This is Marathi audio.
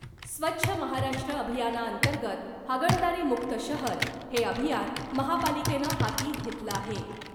स्वच्छ महाराष्ट्र अभियाना अंतर्गत हागणदारी मुक्त शहर हे अभियान महापालिकेनं हाती घेतलं आहे .